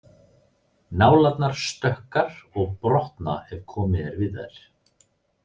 Nálarnar stökkar og brotna ef komið er við þær.